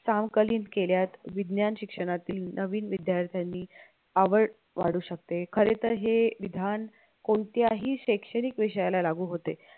समकालीन केल्यात विज्ञान शिक्षणातील नवीन विद्यार्थ्यांनी आवड वाढू शकते खरे तर हे विधान कोणत्याही शैक्षणिक विषयाला लागू होते